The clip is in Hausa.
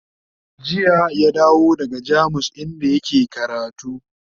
jiya ya dawo daga jamus inda yake karatu